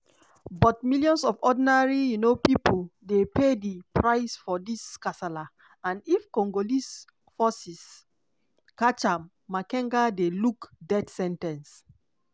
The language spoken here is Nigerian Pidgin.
but millions of ordinary um pipo dey pay di price for dis kasala and if congolese forces catch am makenga dey look death sen ten ce.